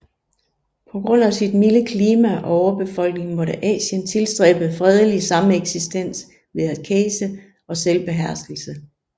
På grund af sit milde klima og overbefolkning måtte Asien tilstræbe fredelig sameksistens ved askese og selvbeherskelse